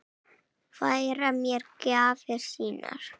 Færa mér gjafir sínar.